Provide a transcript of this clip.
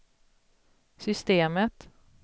systemet